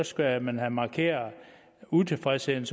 skal man have markeret utilfredsheden